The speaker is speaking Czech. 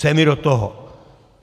Co je mi do toho?